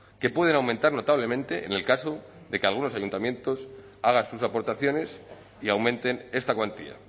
que pueden aumentar notablemente en el caso de que algunos ayuntamientos hagan sus aportaciones y aumenten esta cuantía